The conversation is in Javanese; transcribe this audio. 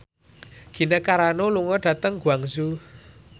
Gina Carano lunga dhateng Guangzhou